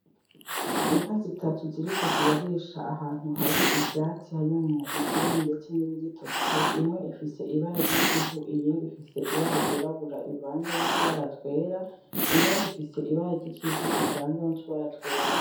Inka zitatu ziriko zirarisha ahantu hari ivyatsi harimwo ivyumye ndetse nibigitose imwe ifise ibara ryikivu iyindi rifise ibara ryirabura rivanze nutubara twera iyindi ifise ryikivu rivanze nutubara twera